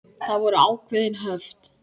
Það voru ákveðin höft.